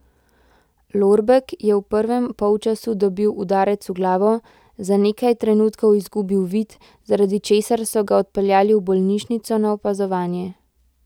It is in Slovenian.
Lorbek je v prvem polčasu dobil udarec v glavo, za nekaj trenutkov izgubil vid, zaradi česar so ga odpeljali v bolnišnico na opazovanje.